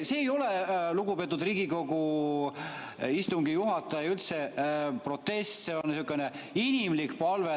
See ei ole, lugupeetud Riigikogu istungi juhataja, üldse protest, see on sihukene inimlik palve.